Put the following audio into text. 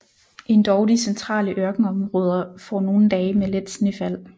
Endog de centrale ørkenområder får nogle dage med let snefald